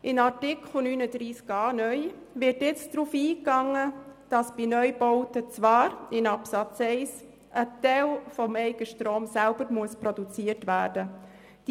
In Artikel 39a Absatz 1 (neu) wird nun darauf eingegangen, dass bei Neubauten zwar ein Teil des Eigenstroms selber produziert werden muss.